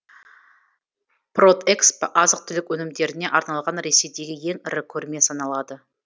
продэкспо азық түлік өнімдеріне арналған ресейдегі ең ірі көрме саналады